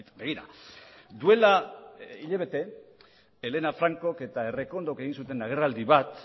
begira duela hilabete elena francok eta errekondok egin zuten agerraldi bat